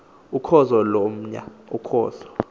ukhozo lomya ukhozo